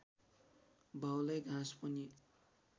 भाउलाई घाँस पानी